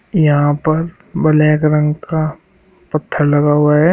यहाँ पर ब्लैक रंग का पत्थर लगा हुआ है।